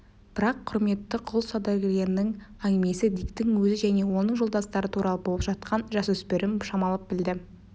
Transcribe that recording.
бірақ құрметті құл саудагерлерінің әңгімесі диктің өзі және оның жолдастары туралы болып жатқанын жасөспірім шамалап білді